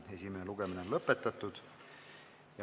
Esimene lugemine on lõpetatud.